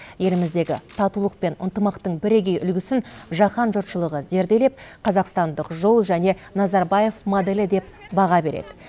еліміздегі татулық пен ынтымақтың бірегей үлгісін жаһан жұртшылығы зерделеп қазақстандық жол және назарбаев моделі деп баға береді